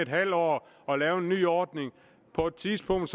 halv år og lave en ny ordning på et tidspunkt